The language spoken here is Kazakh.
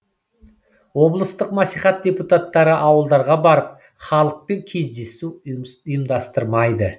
облыстық мәслихат депутаттары ауылдарға барып халықпен кездесу ұйымдастырмайды